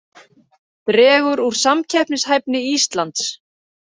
Dregur úr samkeppnishæfni Íslands